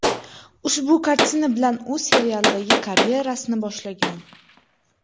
Ushbu kartina bilan u seriallardagi karyerasini boshlagan.